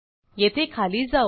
येथे खाली जाऊ